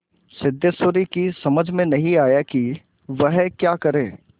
सिद्धेश्वरी की समझ में नहीं आया कि वह क्या करे